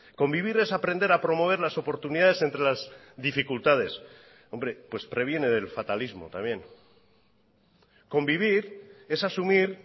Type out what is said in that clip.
convivir es aprender a promover las oportunidades entre las dificultades hombre previene del fatalismo también convivir es asumir